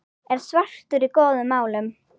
er svartur í góðum málum.